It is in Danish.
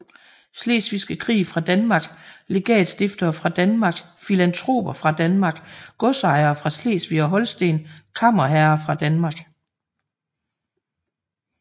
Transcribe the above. Slesvigske Krig fra Danmark Legatstiftere fra Danmark Filantroper fra Danmark Godsejere fra Slesvig og Holsten Kammerherrer fra Danmark